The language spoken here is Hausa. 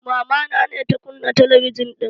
Mamana ne ta kunna talabijan ɗin